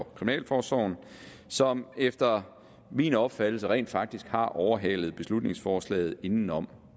kriminalforsorgen som efter min opfattelse rent faktisk har overhalet beslutningsforslaget indenom